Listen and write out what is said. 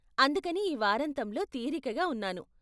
అందుకని ఈ వారాంతంలో తీరికగా ఉన్నాను.